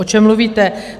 O čem mluvíte?